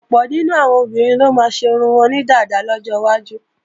Ọ̀pọ̀ nínú àwọn obìnrin ló máa ṣe irun wọn ní dàda lọ́jọwájú